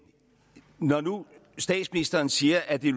når nu statsministeren siger at det